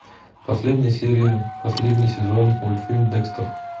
последняя серия последний сезон мультфильм декстер